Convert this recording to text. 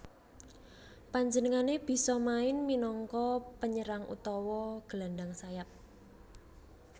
Panjenengané bisa main minangka penyerang utawa gelandang sayap